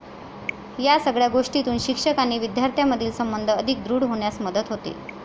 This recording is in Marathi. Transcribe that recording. या सगळ्या गोष्टीतून शिक्षक आणि विद्यार्थ्यामधील संबंध अधिक दृढ होण्यास मदत होते.